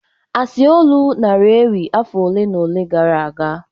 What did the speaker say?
Asi olu nara ewi afọ ole na ole gara aga